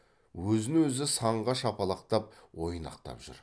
өзін өзі санға шапалақтап ойнақтап жүр